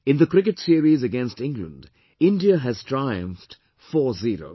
In the cricket series against England, India has triumphed 40